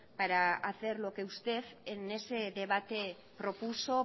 para hacer lo que usted en ese debate propuso